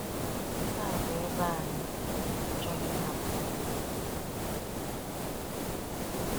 Nke a bụ ebe anyị, anyị achọghị ịhapụ ya ugbu a.